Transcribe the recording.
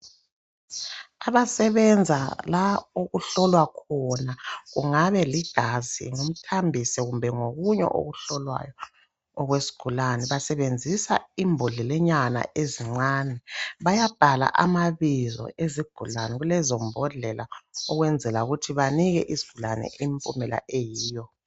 Abasebenza la okuhlolwa khona kungabe ligazi ngumthambiso kumbe ngokunye okuhlolwayo okwesigulani basebenzisa imbodlelanyana ezincane bayabhala amabizo ezigulane kulezo mbodlela ukwenzela ukuthi banike isigulane impumela eyiyo.